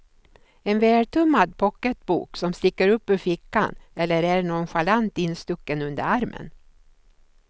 En vältummad pocketbok som sticker upp ur fickan eller är nonchalant instucken under armen.